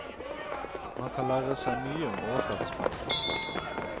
Man kan lære seg mye om overflatespenninger.